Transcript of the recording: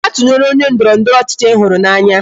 Gaa tụnyere onye ndọrọndọrọ ọchịchị Ị hụrụ n'anya